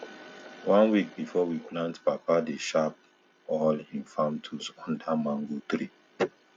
one week before we plant papa dey sharp all him farm tools under mango tree